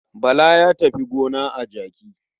Bala ya tafi gona a jaki.